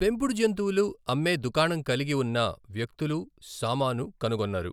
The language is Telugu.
పెంపుడు జంతువులు అమ్మే దుకాణం కలిగి ఉన్న వ్యక్తులు, సామాను కనుగొన్నారు.